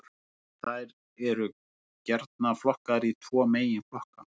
Þær eru gjarnan flokkaðar í tvo meginflokka.